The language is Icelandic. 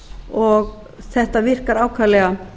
og þetta virkar ákaflega